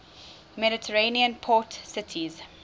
mediterranean port cities